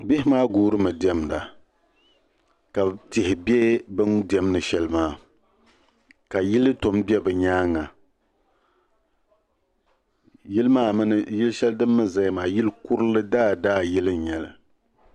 Bihi maa guuri mi dɛmda ka tihi bɛ bin dɛmdi sheli maa ka yili tɔm bɛ bi nyaanga yili sheli din mi zaya maa yili kurli daa daa yili.